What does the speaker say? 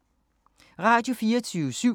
Radio24syv